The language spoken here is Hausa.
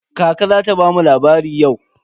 Kaka za ta bamu labari yau?